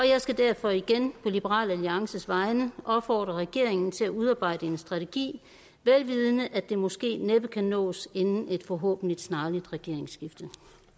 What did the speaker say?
jeg skal derfor igen på liberal alliances vegne opfordre regeringen til at udarbejde en strategi vel vidende at det måske næppe kan nås inden et forhåbentlig snarligt regeringsskifte